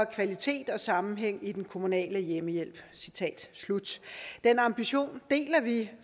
kvalitet og sammenhæng i den kommunale hjemmehjælp den ambition deler vi